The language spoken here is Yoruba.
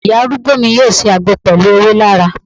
Ìyá arúgbó mi yọ ṣe àgbo pẹlu ewé laraa